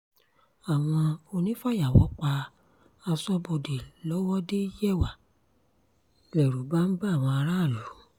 àwọn onífàyàwọ́ pa aṣọ́bodè lọ́wọ́de-yẹwà lẹ́rù bá ń ba àwọn aráàlú